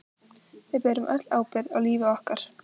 Við berum öll ábyrgð á lífi okkar.